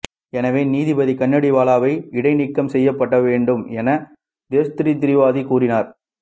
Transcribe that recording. எனவே நீதிபதி கணேடிவாலாவை இடைநீக்கம் செய்யப்பட வேண்டும் என்று தேவ்ஸ்ரி திரிவேதி கூறினார்